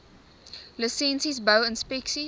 lisensies bou inspeksies